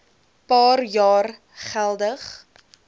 paar jaar geweldig